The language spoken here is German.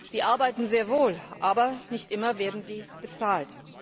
Sie arbeiten sehr wohl, aber nicht immer werden sie bezahlt.